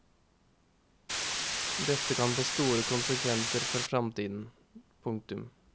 Dette kan få store konsekvenser for framtiden. punktum